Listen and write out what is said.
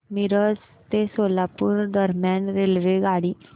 मिरज ते सोलापूर दरम्यान रेल्वेगाडी